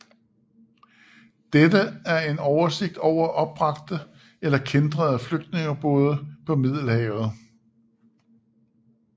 Dette er en oversigt over opbragte eller kæntrede flygtningebåde på Middelhavet